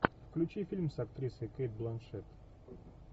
включи фильм с актрисой кейт бланшетт